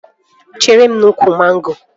Chere m n'úkwù mango